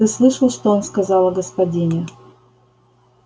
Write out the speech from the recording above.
ты слышал что он сказал о господине